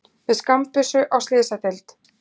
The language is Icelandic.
Með skammbyssu á slysadeild